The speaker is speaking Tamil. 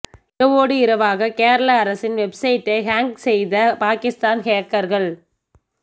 இரவோடு இரவாக கேரள அரசின் வெப்சைட்டை ஹேக் செய்த பாகிஸ்தான் ஹேக்கர்கள்